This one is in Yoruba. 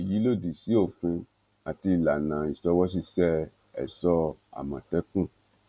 èyí lòdì sí òfin àti ìlànà ìṣòwòṣiṣẹ ẹṣọ àmọtẹkùn